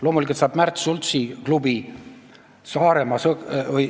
Loomulikult saab raha Märt Sultsi klubi.